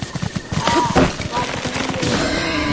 Það var hlýja í rödd hennar.